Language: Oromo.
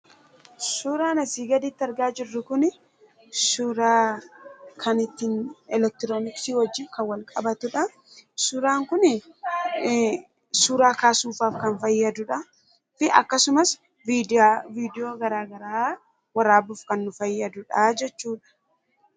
Suuraan asirratti argaa jirru kun suuraa eleektirooniksii wajjin kan wal qabatudha. Suuraa kaasuuf kan fayyadudha akkasumas viidiyoo gara garaa waraabuudhaaf kan nu fayyadudha jechuudha.